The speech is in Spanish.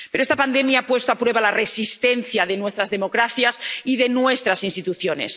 Pero esta pandemia ha puesto a prueba la resistencia de nuestras democracias y de nuestras instituciones.